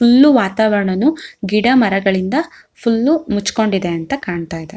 Full ವಾತಾವರಣನು ಗಿಡಮರಗಳಿಂದ full ಮುಚ್ಚಕೊಂಡಿದೆ ಅಂತ ಕಾಣತ್ತಾ ಇದೆ.